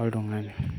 oltung'ani.